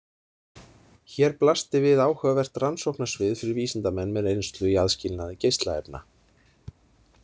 Hér blasti við áhugavert rannsóknarsvið fyrir vísindamenn með reynslu í aðskilnaði geislaefna.